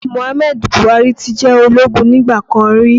Muhammadu Buhari ti jẹ́ ológun nígbà kan rí